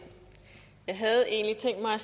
her